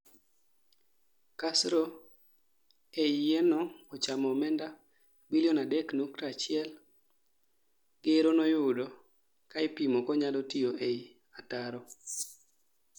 kasro ei yie no ochamo omenda bilion 3.1 gero noyudo kaa ipomo konyalo tiyo ei ataro